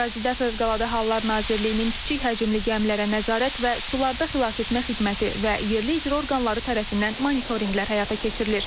Ərazidə Fövqəladə Hallar Nazirliyinin kiçik həcmli gəmilərə nəzarət və sularda xilasetmə xidməti və yerli icra orqanları tərəfindən monitorinqlər həyata keçirilir.